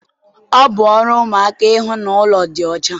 Ọ bụ ọrụ ụmụaka ịhụ na ụlọ dị ọcha